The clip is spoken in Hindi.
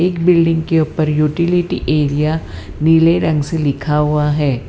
बिल्डिंग के ऊपर यूटिलिटी एरिया नीले रंग से लिखा हुआ है।